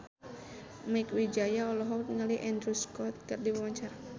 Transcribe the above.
Mieke Wijaya olohok ningali Andrew Scott keur diwawancara